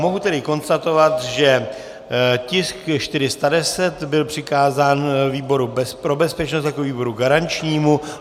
Mohu tedy konstatovat, že tisk 410 byl přikázán výboru pro bezpečnost jako výboru garančnímu.